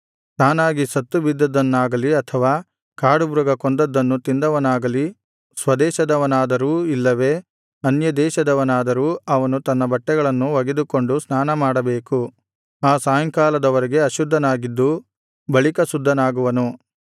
ತಾನಾಗಿ ಸತ್ತುಬಿದ್ದದ್ದನ್ನಾಗಲಿ ಅಥವಾ ಕಾಡುಮೃಗ ಕೊಂದದ್ದನ್ನು ತಿಂದವನಾಗಲಿ ಸ್ವದೇಶದವನಾದರೂ ಇಲ್ಲವೇ ಅನ್ಯದೇಶದವನಾದರೂ ಅವನು ತನ್ನ ಬಟ್ಟೆಗಳನ್ನು ಒಗೆದುಕೊಂಡು ಸ್ನಾನಮಾಡಬೇಕು ಆ ಸಾಯಂಕಾಲದ ವರೆಗೆ ಅಶುದ್ಧನಾಗಿದ್ದು ಬಳಿಕ ಶುದ್ಧನಾಗುವನು